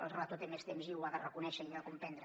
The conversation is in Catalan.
el relator té més temps i ho ha de reconèixer i comprendre